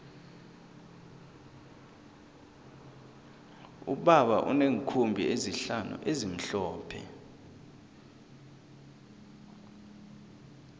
ubaba uneenkhumbi ezihlanu ezimhlophe